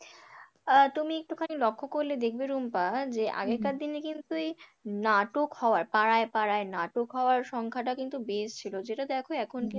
তুমি একটু খানি লক্ষ্য করলে দেখবে রুম্পা যে আগেকার দিনে কিন্তু এই নাটক হওয়ার পাড়ায় পাড়ায় নাটক হওয়ার সংখ্যাটা কিন্তু বেশ ছিল যেটাতে দেখো এখন কিন্তু,